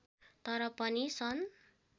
तर पनि सन्